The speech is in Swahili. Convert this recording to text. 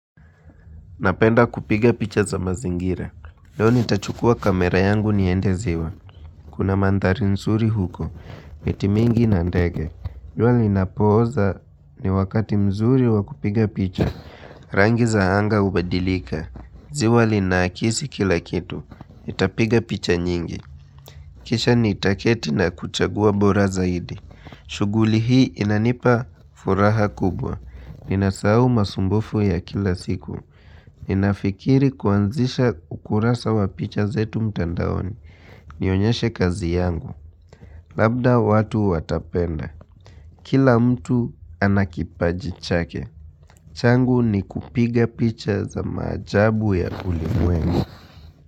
Napenda kupiga picha za mazingira Leo nitachukua kamera yangu niende ziwa Kuna mandhari nzuri huko miti mingi na ndege jua linapoza ni wakati mzuri wakupiga picha Rangi za anga hubadilika ziwa linaakisi kila kitu nitapiga picha nyingi Kisha nitaketi na kuchagua bora zaidi shughuli hii inanipa furaha kubwa Ninasahao masumbufu ya kila siku ni nafikiri kuanzisha ukurasa wa picha zetu mtandaoni Nionyeshe kazi yangu Labda watu watapenda Kila mtu ana kipaji chake changu ni kupiga picha za maajabu ya ulimwengu.